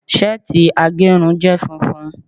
seeti agerun je funfun